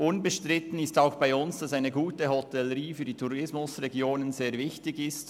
Unbestritten ist auch für uns, dass eine gute Hotellerie für die Tourismusregionen sehr wichtig ist.